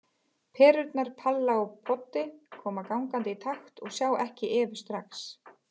Perurnar Palla og Poddi koma gangandi í takt og sjá ekki Evu strax.